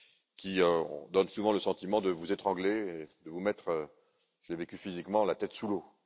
qui donnent souvent le sentiment de vous étrangler, de vous mettre je l'ai vécu physiquement la tête sous l'eau.